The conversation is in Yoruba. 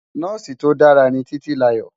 Nòsi tó dàrá Titilayo